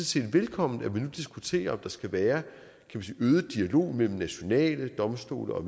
set velkommen at man nu diskuterer om der skal være en øget dialog mellem de nationale domstole og